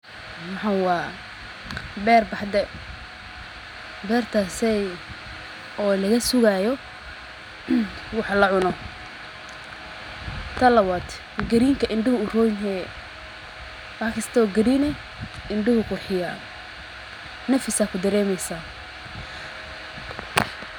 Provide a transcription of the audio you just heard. waxa waa beer baxde. Beerta hasey oo laga sugayo wuxuu la cuno ta lawaad. Gariinka induhu u roon ee? Waaxkisto green in duhu ku xiyaadeen. Nafisaa ku dareemaysa.